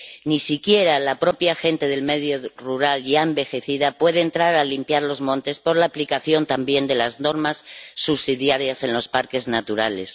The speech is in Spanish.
Ni siquiera la propia gente del medio rural, ya envejecida, puede entrar a limpiar los montes por la aplicación también de las normas subsidiarias en los parques naturales.